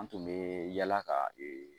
An tun bɛ yala ka ee